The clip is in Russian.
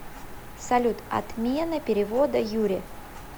салют отмена перевода юре